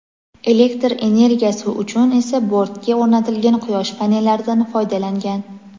elektr energiyasi uchun esa bortga o‘rnatilgan quyosh panellaridan foydalangan.